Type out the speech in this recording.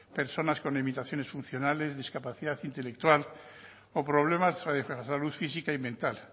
personas con limitaciones funcionales discapacidad intelectual o problemas de salud física y mental